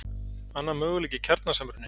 Annar möguleiki er kjarnasamruni.